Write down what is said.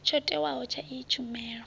tsho tiwaho tsha iyi tshumelo